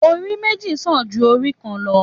Òrí mẹji sàn jú òrí lọ